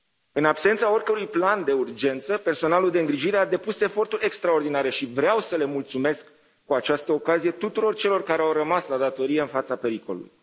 În absența oricărui plan de urgență, personalul de îngrijire a depus eforturi extraordinare și vreau să le mulțumesc, cu această ocazie, tuturor celor care au rămas la datorie în fața pericolului.